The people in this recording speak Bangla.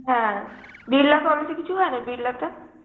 হ্যাঁ, বিড়লা college এ কিছু হয় না, বিড়লাটে?